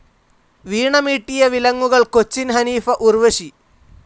വീണമീട്ടിയ വിലങ്ങുകൾ കൊച്ചിൻ ഹനീഫ ഉർവശി